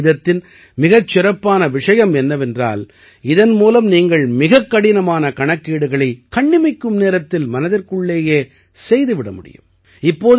வைதிக கணிதத்தின் மிகச் சிறப்பான விஷயம் என்னவென்றால் இதன் மூலம் நீங்கள் மிகக்கடினமான கணக்கீடுகளை கண்ணிமைக்கும் நேரத்தில் மனதிற்குள்ளேயே செய்து விட முடியும்